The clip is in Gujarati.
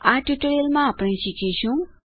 આ ટ્યુટોરીઅલમાંઆપણે આ શીખીશું